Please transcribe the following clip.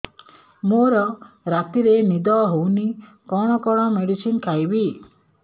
ମୋର ରାତିରେ ନିଦ ହଉନି କଣ କଣ ମେଡିସିନ ଖାଇବି